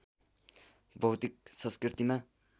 भौतिक संस्कृतिमा